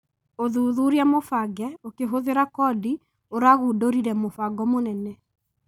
ũthuthuria mũbange ũkĩhũthĩra kondi ũragũndũrire mũbango mũnene